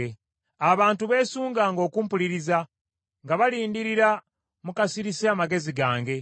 “Abantu beesunganga okumpuliriza, nga balindirira mu kasirise amagezi gange.